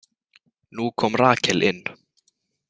Nú kom Rakel inn.